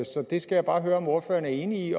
så det skal jeg bare høre om ordføreren er enig i